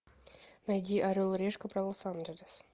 найди орел и решка про лос анджелес